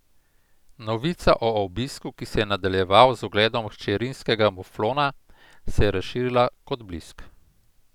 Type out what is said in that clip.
Novica o obisku, ki se je nadaljeval z ogledom hčerinskega Muflona, se je razširila kot blisk.